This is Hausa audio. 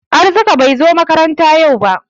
Arzika bai zo makaranta yau ba.